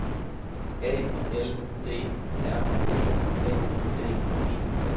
A L D R E N D E